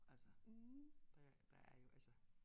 Altså der der er jo altså